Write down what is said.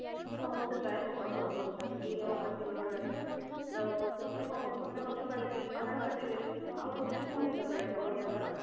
ସମସ୍ତେ ପ୍ରାୟ ପକ୍କା ଘର କରୁଛନ୍ତି କି ଆଉ ମାଟି ଘର ନାହିଁ ତ ସେଥରେ କଣ ହଉଚି ସେମାନେ ଗଛ କାଟିଲେ ପାହାଡ଼ କାଟିଲେ ଆଉ ଗଛ କୋଉଠି ଲଗେଇବାକୁ ଗାଜା ହବ?